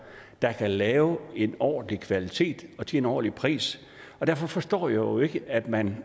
der kan lave en ordentlig kvalitet til en ordentlig pris derfor forstår jeg jo ikke at man